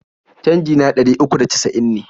Canji na ɗari uku da casa'in ne.